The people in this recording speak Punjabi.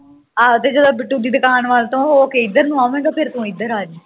ਆਹੋ ਤੇ ਜਦੋਂ ਬਿੱਟੂ ਦੀ ਦੁਕਾਨ ਵਲ ਤੋਂ ਹੋ ਕੇ ਕਿੱਧਰ ਨੂੰਆਵੇਂਗਾ ਫੇਰ ਤੂੰ ਇਧਰ ਨੂੰ ਆ ਜਾਵੀਂ